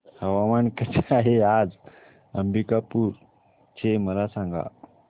हवामान कसे आहे आज अंबिकापूर चे मला सांगा